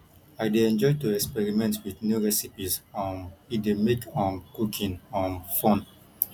i dey enjoy to experiment with new recipes um e dey make um cooking um fun